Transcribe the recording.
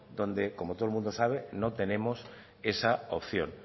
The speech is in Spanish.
donde como todo el mundo sabe no tenemos esa opción